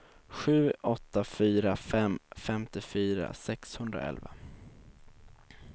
sju åtta fyra fem femtiofyra sexhundraelva